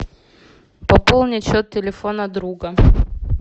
пополнить счет телефона друга